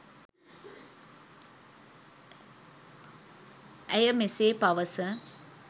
ඇය මෙසේ පවස